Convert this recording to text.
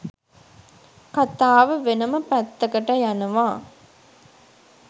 කතාව වෙනම පැත්තකට යනවා.